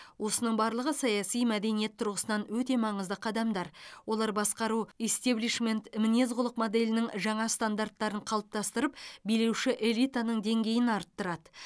осының барлығы саяси мәдениет тұрғысынан өте маңызды қадамдар олар басқару истеблишмент мінез құлық моделінің жаңа стандарттарын қалыптастырып билеуші элитаның деңгейін арттырады